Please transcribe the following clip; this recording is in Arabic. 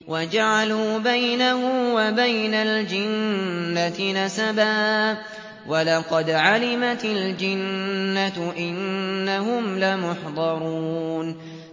وَجَعَلُوا بَيْنَهُ وَبَيْنَ الْجِنَّةِ نَسَبًا ۚ وَلَقَدْ عَلِمَتِ الْجِنَّةُ إِنَّهُمْ لَمُحْضَرُونَ